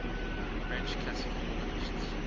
french classical organists